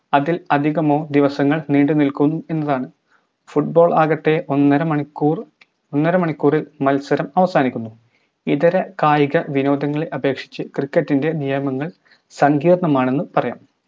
അതിൽ അധികമോ ദിവസങ്ങൾ നീണ്ടുനിൽക്കും എന്നതാണ് football ആകട്ടെ ഒന്നര മണിക്കൂർ ഒന്നര മണിക്കൂർ മത്സരം അവസാനിക്കുന്നു ഇതര കായിക വിനോദങ്ങളെ അപേക്ഷിച്ച് cricket ൻറെ നിയമങ്ങൾ സങ്കീർണ്ണമാണെന് പറയാം